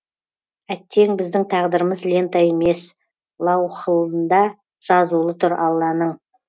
әттең біздің тағдырымыз лента емес лауһылында жазулы тұр алланың